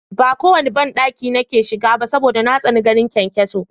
Ba kowanne banɗaki nake shiga ba saboda na tsani ganin kyankyaso